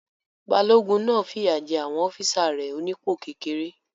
Balógun náà fìyà jé àwọn ọ́físà rẹ̀ onípò kékeré